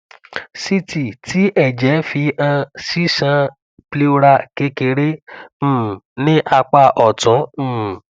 ct ti ẹjẹ fi han ṣiṣan pleural kekere um ni apa ọtun um